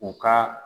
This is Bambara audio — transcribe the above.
U ka